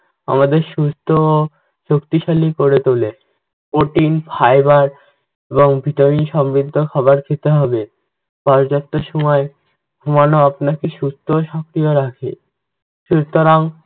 আমাদের সুস্থ ও শক্তিশালী করে তোলে। protein, fiber এবং vitamin সমৃদ্ধ খাবার খেতে হবে। পর্যাপ্ত সময়ে ঘুমানো আপনাকে সুস্থ ও সক্রিয় রাখে। সুতরাং